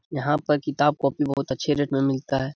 यहाँ पर किताब कॉपी बहुत अच्छे रेट में मिलता है।